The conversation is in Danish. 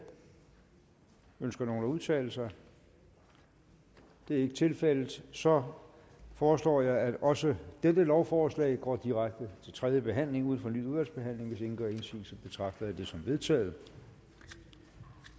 ønsker nogen at udtale sig det er ikke tilfældet så foreslår jeg at også dette lovforslag går direkte til tredje behandling uden fornyet udvalgsbehandling hvis ingen gør indsigelse betragter jeg det som vedtaget